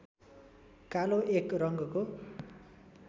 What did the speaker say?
कालो एक रङ्गको